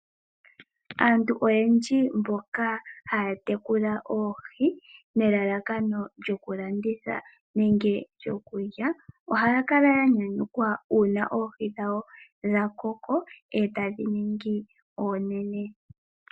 Aantu oyendji mboka haya tekula oohi nelalakano lyokulanditha nenge lyokulya, ohaya kala ya nyanyukwa uuna oohi dhawo dhakoko etadhi ningi oonene.